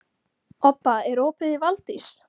Obba, er opið í Valdís?